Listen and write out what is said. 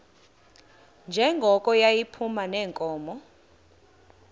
njengoko yayiphuma neenkomo